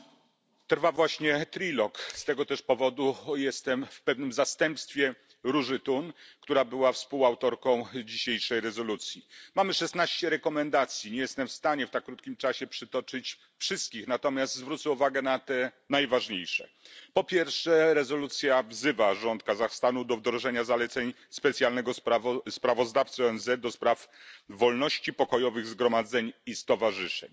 Pani Przewodnicząca! Trwają właśnie rozmowy trójstronne, z tego też powodu jestem w pewnym zastępstwie Róży Thun, która była współautorką dzisiejszej rezolucji. Mamy szesnaście zaleceń, nie jestem w stanie w tak krótkim czasie przytoczyć wszystkich, natomiast zwrócę uwagę na te najważniejsze. Po pierwsze rezolucja wzywa rząd Kazachstanu do wdrożenia zaleceń specjalnego sprawozdawcy ONZ do spraw wolności, pokojowych zgromadzeń i stowarzyszeń.